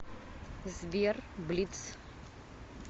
сбер блитз